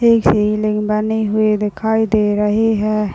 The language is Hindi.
बनी हुई दिखाई दे रही है।